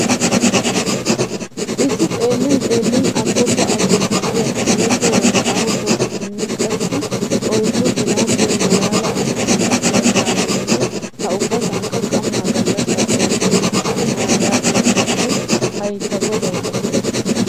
Issi xellin xeellin agoppa agoppa giya keehiippe wolqqaama poqqettinne qassi oyddu ginawu biya maalala ogetuura biya kaameenne ha ubbasankka qamma gallassa ootti uttida mabiraattiya poo'oy hay ta godawu lo'ees.